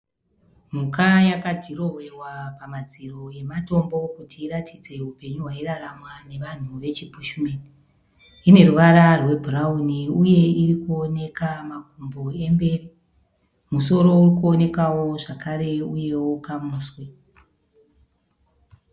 Mhuka yakadhirowewa pamadziro amatombo kuti iratidze upenyu hwairaramwa nevanhu vechibhushimeni. Ine ruvara rwebhurawuni uye iri kuoneka makumbo emberi. Musoro uri kuonekawo zvakare uyewo kamuswe.